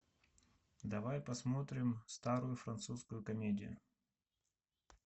давай посмотрим старую французскую комедию